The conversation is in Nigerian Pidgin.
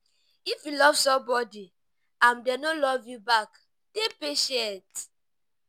if you love somebody and dem no love you back dey patient